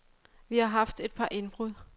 Vi har haft et par indbrud.